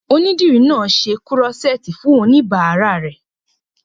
Onídìrí náà n ṣe kúrọ́sẹ́ẹ̀tì fún oníbàárà rẹ̀